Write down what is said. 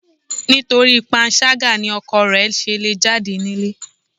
Nítorí panṣágà ni ọkọ rẹ̀ ṣe le jáde nílé.